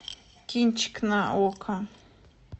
кинчик на окко